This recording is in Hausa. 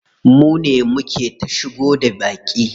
Mune muke ta shigo da baƙi.